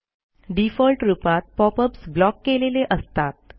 default रूपात pop ups block केलेले असतात